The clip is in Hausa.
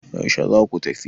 yaushe za ku tafi?